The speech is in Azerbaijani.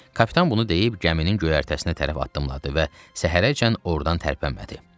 Kapitan bunu deyib gəminin göyərtəsinə tərəf addımladı və səhərəcən ordan tərpənmədi.